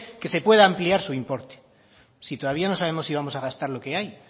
que se puede ampliar su importe si todavía no sabemos si vamos a gastar lo que hay